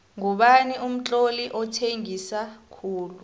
ngubani umtloli othengisa khulu